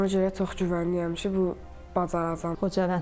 Ona görə çox güvənirəm ki, bacaracam.